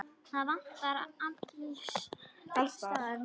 Það vantar alls staðar smiði.